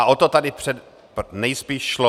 A o to tady nejspíš šlo.